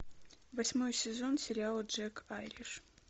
восьмой сезон сериала джек айриш